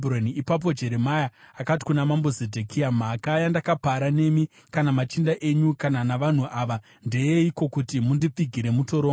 Ipapo Jeremia akati kuna Mambo Zedhekia, “Mhaka yandakapara nemi kana machinda enyu kana navanhu ava, ndeyeiko kuti mundipfigire mutorongo?